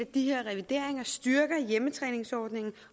de her revideringer styrker hjemmetræningsordningen